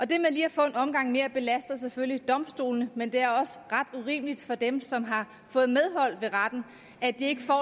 det med lige at få en omgang mere belaster selvfølgelig domstolene men det er også ret urimeligt for dem som har fået medhold i retten at de ikke får